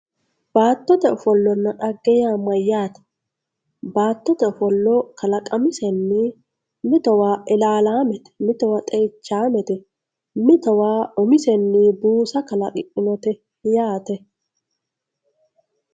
baattote ofollonna dhagge yaa mayyaate? baattote ofolo kalaqamisenni mitowa ilaalaamete mito xeichaamete mitowa umisenni buusa kalaqidhinote yaate